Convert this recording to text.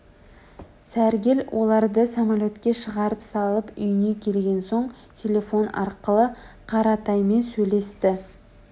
сәргел оларды самолетке шығарып салып үйіне келген соң телефон арқылы қаратаймен сөйлесті